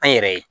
An yɛrɛ ye